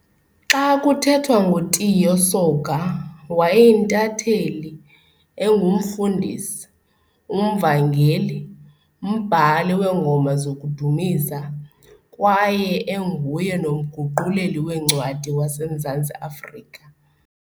Xa kuthethwa ngoTiyo Soga wayeyintatheli, enguMfundisi, umVangeli, mbhali weengoma zokudumisa, kwaye enguye nomguquleli wencwadi, waseMzantsi-Afrika.